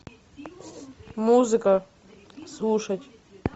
музыка слушать